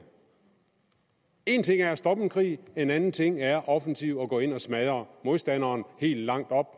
en ting er at stoppe en krig en anden ting er offensivt at gå ind og smadre modstanderen helt